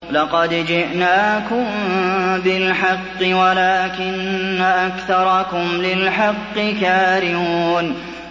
لَقَدْ جِئْنَاكُم بِالْحَقِّ وَلَٰكِنَّ أَكْثَرَكُمْ لِلْحَقِّ كَارِهُونَ